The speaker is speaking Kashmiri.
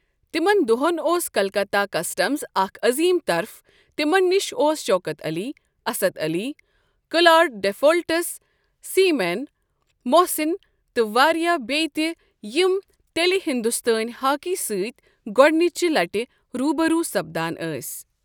تِمن دۄہن اوس کلکتہ کسٹمزِاكھ عظیم طرف تِمن نِش اوس شوکت علی، اسد علی، کلاڈ ڈیفولٹس، سیمین، محسن تہٕ واریاہ ببیہِ تہِ یِم تیلہِ ہندوستٲنۍ ہاکی سٕتۍگوڈنِچہِ لٕٹہِ روٗ بہٕ روُ سپدان ٲسۍ۔